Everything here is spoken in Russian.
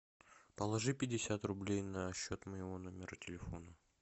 положи пятьдесят рублей на счет моего номера телефона